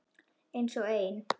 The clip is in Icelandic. Einsog ein.